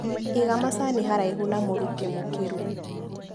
Iga macani haraihu na mũrukĩ mũkĩrũ.